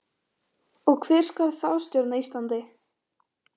Og hver skal þá stjórna Íslandi?